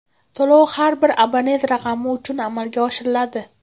To‘lov har bir abonent raqami uchun amalga oshiriladi.